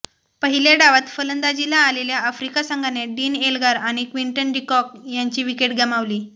पहिल्या डावात फलंदाजीला आलेल्या आफ्रिका संघाने डीन एल्गार आणि क्विंटन डी कॉक यांची विकेट गमावली